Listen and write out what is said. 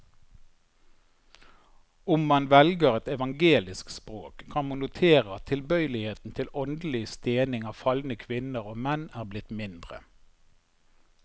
Om man velger et evangelisk språk, kan man notere at tilbøyeligheten til åndelig stening av falne kvinner og menn er blitt mindre.